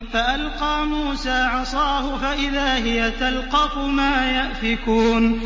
فَأَلْقَىٰ مُوسَىٰ عَصَاهُ فَإِذَا هِيَ تَلْقَفُ مَا يَأْفِكُونَ